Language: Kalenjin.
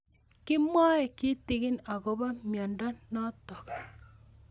Kimwae kitig'in akopo miondo notok